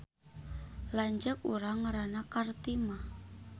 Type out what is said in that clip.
Lanceuk urang ngaranna Kartimah